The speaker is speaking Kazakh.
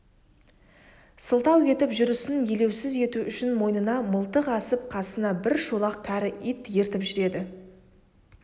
сылтау етіп жүрісін елеусіз ету үшін мойнына мылтық асып қасына бір шолақ кәрі ит ертіп жүреді